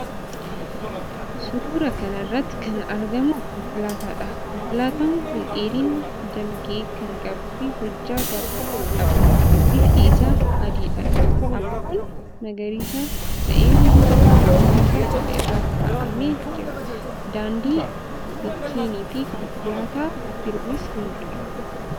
Suuraa kana irratti kan argamu konkolaataadha. Konkolaataan kun dheerina dalgee kan qabuufi hojjaa gabaabaa qaba. Bifti isaa adiidha. Abaaboon magariisa ta'e fuuldura konkolaataa kanaa irra kaa'amee jira. Daandii, mukkeeniifi konkolaataa biroonis ni mul'ata.